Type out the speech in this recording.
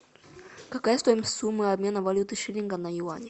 какая стоимость суммы обмена валюты шиллинга на юани